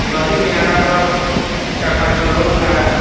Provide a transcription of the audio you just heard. नदी किनारा पर चार-पाँच गो लोग खड़ा है।